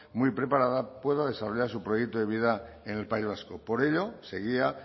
muy preparada pueda desarrollar su proyecto de vida en el país vasco por ello seguía